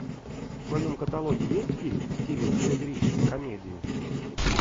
в твоем каталоге есть фильм в стиле сатирической комедии